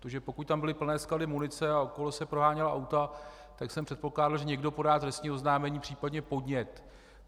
Protože pokud tam byly plné sklady munice a okolo se proháněla auta, tak jsem předpokládal, že někdo podá trestní oznámení, případně podnět.